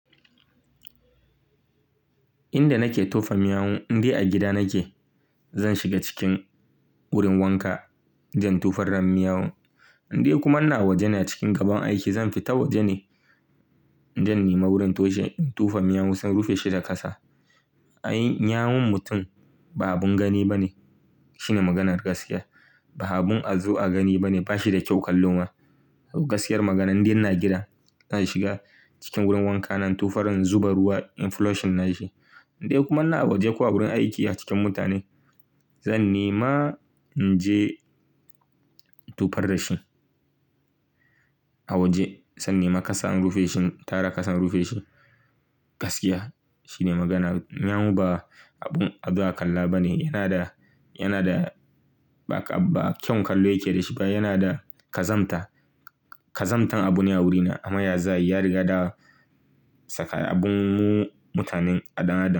Inda nake tofa miyau, in dai a gida nake zan shiga cikin wurin wanka zan tofa ran miyau. In dai kuma ina waje ne a cikin gaban aiki zan fita waje ne in je in nema wurin tushe in tofa miyau sai in rufe shi da kasa. Ai, miyaun mutum ba abin gani ba ne. Shine maganar gaskiya. Ba abin a zo agani ba ne. Ba shi da kyau kallo ma. Gaskiyar magana in dai ina gida zan shiga cikin wurin wanka na in tofa ran zuba ruwa in flush nashi. In dai kuma ina waje ko a wurin aiki a cikin mutane zan nema in je in tofa da shi a waje. Sai in nema kasa in rufe shi in tara kasa in rufe shi. Gaskiya shine maganar. Miyau ba abun a zo a kalla ba ne. Yana da, yana da ba kyau kallo yake da shi ba. Yana da kazanta. Kazantan abu ne a wurina. Amma ya za a yi ya riga da saka abun mu mutanen a ɗan adam.